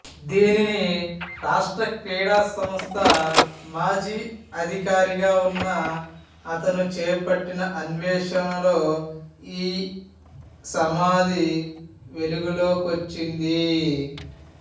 దీనిని రాష్ట్ర క్రీడా సంస్థ మాజీ అధికారి గా ఉన్న అతను చేపట్టిన అణ్వేషణలో ఈ సమాధి వెలుగులోకొచ్చింది